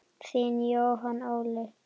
Þinn Jóhann Óli.